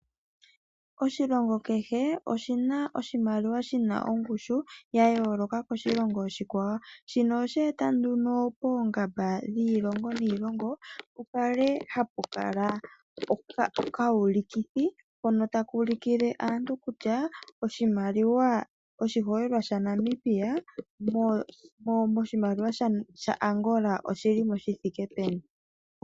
Oshilongo kehe, oshina oshimaliwa shina ongushu ya yooloka koshilongo oshikwawo. Shino osha eta nduno poongamba dhiilongo niilongo, pu kale hapu kala okawulikithi, hono taka ulukile aantu kutya oshimaliwa, oshiholelwa shaNamibia moshimaliwa shaAngola oshilimo shi thike peni.